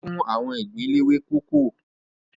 Ọlá fún àwọn ìgbín léwé kókò